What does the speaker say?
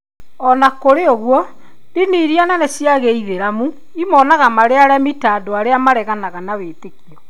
O na kũrĩ ũguo, ndini iria nene cia Gĩithĩramu imonaga marĩ aremi ta andũ arĩa maareganaga na wĩtĩkio.